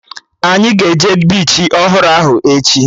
Anyị ga-eje bichi ọhụrụ ahụ echi